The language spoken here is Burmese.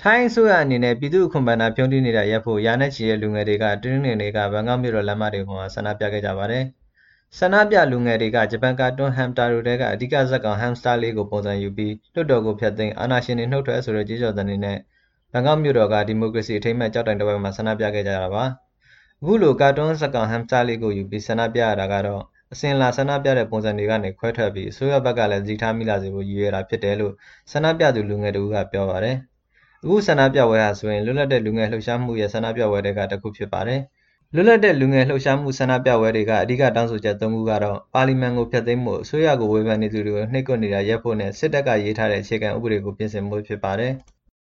ိုင်းအစိုးရအနေနဲ့ ပြည်သူ့အခွန်ဘဏ္ဍာတွေ ဖြုန်းတီးနေတာ ရပ်ဖို့ ရာနဲ့ချီတဲ့ လူငယ်တွေက တနင်္ဂနွေနေ့က ဘန်ကောက်မြို့တော် လမ်းမတွေပေါ်မှာ ဆန္ဒပြခဲ့ကြပါတယ်။ ဆန္ဒပြလူငယ်တွေက ဂျပန်ကာတွန်း Hamtaro ထဲက အဓိကဇာတ်ကောင် Hamster လေးကို ပုံစံယူပြီး လွှတ်တော်ကို ဖျက်သိမ်း၊ အာဏာရှင်တွေ နုတ်ထွက်ဆိုတဲ့ ကြွေးကြော်သံတွေနဲ့ ဘန်ကောက်မြို့တော်က ဒီမိုကရေစီ အထိမ်းအမှတ် ကျောက်တိုင်တဝိုက်မှာ ဆန္ဒပြခဲ့ကြတာပါ။ အခုလို ကာတွန်းဇာတ်ကောင် Hamster လေးကို ပုံစံယူပြီး ဆန္ဒပြရတာကတော့ အစဉ်အလာ ဆန္ဒပြတဲ့ ပုံစံတွေကနေ ခွဲထွက်ပြီး အစိုးရဘက်ကလည်း သတိထားမိလာစေဖို့ ရည်ရွယ်တာဖြစ်တယ်လို့ ဆန္ဒပြသူ လူငယ်တဦးက ပြောပါတယ်။ အခုဆန္ဒပြပွဲဟာဆိုရင် လွတ်လပ်တဲ့ လူငယ်လှုပ်ရှားမှုရဲ့ ဆန္ဒပြပွဲတွေထဲက တခုဖြစ်ပါတယ်။ လွတ်လပ်တဲ့ လူငယ်လှုပ်ရှားမှု ဆန္ဒပြပွဲတွေက အဓိက တောင်းဆိုချက် သုံးခုကတော့ ပါလီမန်ကို ဖျက်သိမ်းဖို့၊ အစိုးရကို ဝေဖန်သူတွေကို နှိပ်ကွပ်နေတာ ရပ်ဖို့နဲ့ စစ်တပ်ကရေးတဲ့ အခြေခံဥပဒေကို ပြင်ဆင်ဖို့ ဖြစ်ပါတယ်။